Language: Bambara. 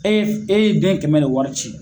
E e ye den kɛmɛ de wari ci